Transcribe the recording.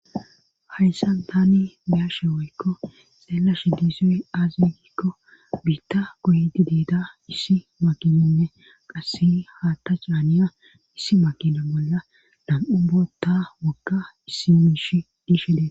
Hayssan tani biyashe woykko xeela shidisoy aaziikko biitta goydi deeda issi makininne qasse haatta caaniya issi makina bolla dam7u bootta wagga issimish dishede.